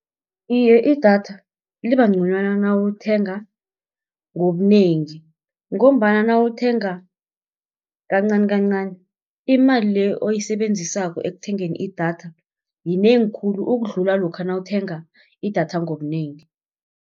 Iye idatha liba nconywana nawulithenga ngobunengi, ngombana nawuthenga kancani-kancani imali le oyisebenzisako ekuthengeni idatha yinengi khulu ukudlula lokha nawuthenga idatha ngobunengi.